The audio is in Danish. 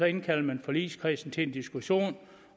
indkalder forligskredsen til en diskussion